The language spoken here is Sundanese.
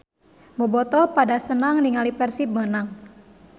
Bobotoh pada senang ninggali Persib menang